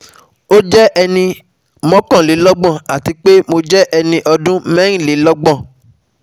O jẹ ẹni mọkanlelọgbọn, ati pe mo jẹ ẹni ọdun mẹrinlelọgbọn